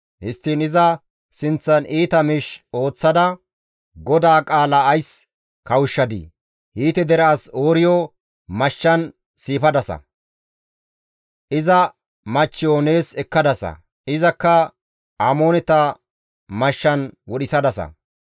Histtiin iza sinththan iita miish ooththada GODAA qaala ays kawushshadii? Hiite dere as Ooriyo mashshan siifadasa; iza machcheyo nees ekkadasa; izakka Amooneta mashshan wodhisadasa.